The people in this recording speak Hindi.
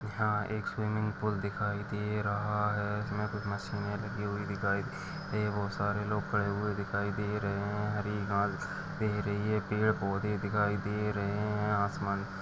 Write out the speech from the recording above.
यहाँ एक स्विमिंग पूल दिखाइ दे रहा है इसमे कुछ मशीने लगी हुई दिखाई है बहुत सारे लोग खडे हुए दिखाई दे रहे है हरी घास दिख रही है पड़े-पोधे दिखाई दे रहे हैआसमान --